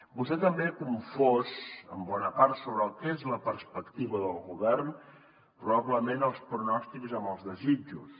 vostè també ha confós en bona part sobre el que és la perspectiva del govern probablement els pronòstics amb els desitjos